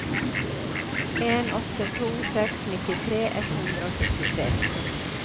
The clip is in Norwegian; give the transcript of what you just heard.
en åtte to seks nittitre ett hundre og syttitre